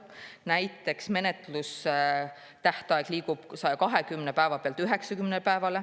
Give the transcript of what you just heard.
Näiteks liigub menetlustähtaeg 120 päeva pealt 90 päevale.